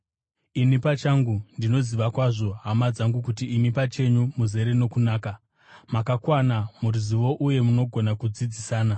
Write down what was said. Ini pachangu ndinoziva kwazvo, hama dzangu, kuti imi pachenyu muzere nokunaka, makakwana muruzivo uye munogona kudzidzisana.